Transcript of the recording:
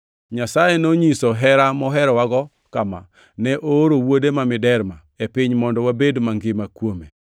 Nyasaye nonyiso hera moherowago kama: Ne ooro Wuode ma miderma e piny mondo wabed mangima kuome.